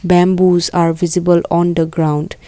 bamboos are visible on the ground.